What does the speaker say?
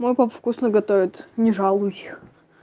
ну он там вкусно готовит мы жрались